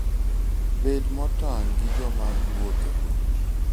Bed motang' gi joma iwuotho go.